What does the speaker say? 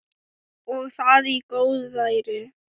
Og það í góðæri!